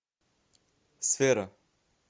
сфера